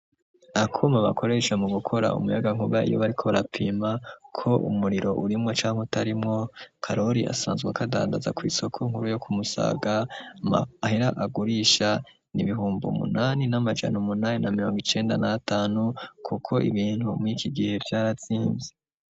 Akuma bakoreshwe mu gukora umuyaga nkuba iyo bariko barapima ko umuriro urimwo canke utarimwo karori asanzwe ako adandaza kw'isoko nkuru yo kumusaga, amahera agurisha nibihumba umunani n'amajana umunani na mirongo icenda na atanu, kuko ibintu mwiki gihe vyaratsize.